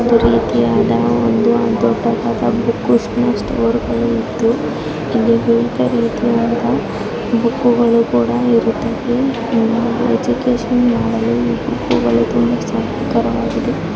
ಇದು ಒಂದು ರೀತಿಯಾದ ಒಂದು ದೊಡ್ಡದಾದ ಬುಕ್‌ ಸ್ಟೋರ್‌ ಗಳಿತು ಇಲ್ಲಿ ವಿವಿಧ ರೀತಿಯ ಬುಕ್‌ಗಳು ಕೂಡ ಇರುತ್ತದೆ ಎಜುಕೇಜನ್‌ ಮಾಡಲು ಈ ಬುಕ್ಕುಗಳು ತುಂಬಾ ಸಹಕಾರವಾಗಿದೆ